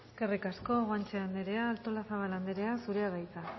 eskerrik asko guanche anderea artolazabal anderea zurea da hitza